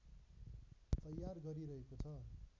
तयार गरिरहेको छ